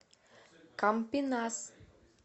кампинас